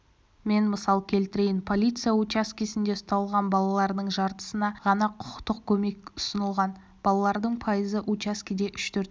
мен мысал келтірейін полиция учаскесінде ұсталған балалардың жартысына ғана құқықтық көмек ұсынылған балалардың пайызы учаскеде үш-төрт